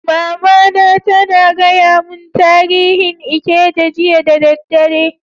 Mama na tana gaya mun tarihin Ikeja jiya da dare.